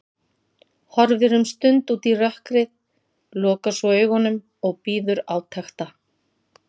Horfir um stund út í rökkrið, lokar svo augunum og bíður átekta.